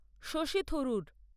Shashi Tharoor